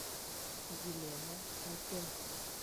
елена кольпенко